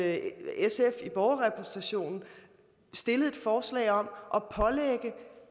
at sf i borgerrepræsentationen stillede et forslag om